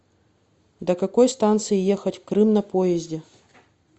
до какой станции ехать в крым на поезде